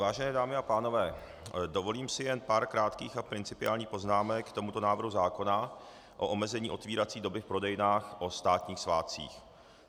Vážené dámy a pánové, dovolím si jen pár krátkých a principiálních poznámek k tomuto návrhu zákona o omezení otevírací doby v prodejnách o státních svátcích.